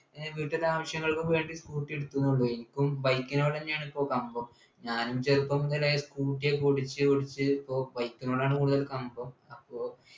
ഏർ വീട്ടിത്തെ ആവശ്യങ്ങൾക്ക് വേണ്ടി scooter എടുത്തുന്നെ ഉള്ളു എനിക്കും bike നോടെന്നെയാണ് എനിക്കും കമ്പം ഞാനും ചെറുപ്പം മുതലേ scooter ഒക്കെ ഓടിച്ച് ഓടിച്ച് ഇപ്പൊ bike നോടാണ് കൂടുതല് കമ്പം അപ്പൊ